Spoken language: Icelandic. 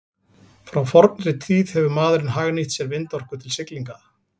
Frá fornri tíð hefur maðurinn hagnýtt sér vindorku til siglinga.